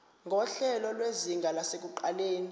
nguhlelo lwezinga lasekuqaleni